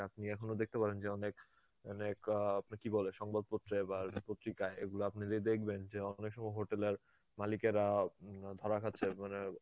যে আপনি এখনো দেখতে পারেন যে অনেক মানে কা~ কিবলে সংবাদপত্রে বা পত্রিকায় এগুলো আপনি যে দেখবেন যে অনেক সময় hotel এর মালিকেরা উম ধরা খাচ্ছে মানে